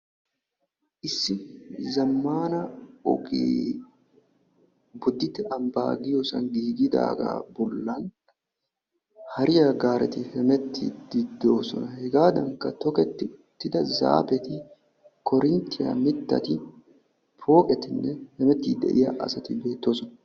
Issi zammaana ogee "bodditte ambbaa" giyoosan giigidaagaa bollan hariyaa gaareti hemettiiddi de'oosona. Hegaadankka toketti uttida zaafeti, koorinttiya mittati, pooqetinne hemettiiddi de"iyaa asati beettosona.